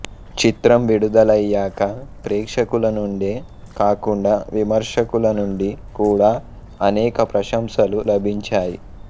చిత్రం విడుదలయ్యాక ప్రేక్షకుల నుండే కాకుండా విమర్శకుల నుండి కూడా అనేక ప్రశంసలు లభించాయి